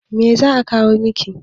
Me za'a kawo miki.